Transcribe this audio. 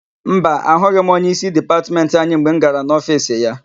Mba, ahụghị m onyeísí Dipatmentị anyị mgbe m gara n'ofiisi ya.